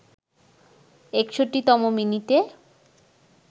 ৬১তম মিনিটে